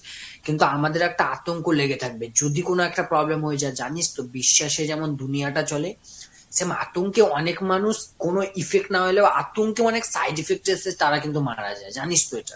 কিন্তু আমাদের একটা আতঙ্ক লেগে থাকবে যদি কোন একটা problem হয়ে যায়। জানিস তো ? বিশ্বাসে যেমন দুনিয়াটা চলে। same আতঙ্কে অনেক মানুষ কোন effect না হইলেও আতঙ্কে অনেক side effect এসেছে তারা কিন্তু মারা যায় জানিস তো এটা?